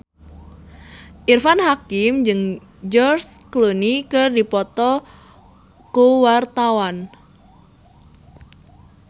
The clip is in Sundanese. Irfan Hakim jeung George Clooney keur dipoto ku wartawan